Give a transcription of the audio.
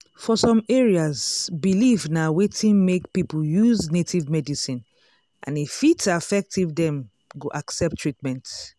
for some areas belief na wetin make people use native medicine and e fit affect if dem go accept treatment.